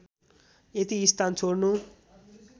यति स्थान छोड्नु